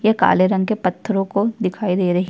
ये काले रंग के पत्थरों को दिखाई दे रही है।